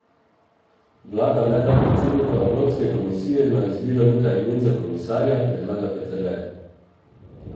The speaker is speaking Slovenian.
Vlada naj da predsedniku Evropske komisije na izbiro nekaj imen za komisarja, predlaga Peterle.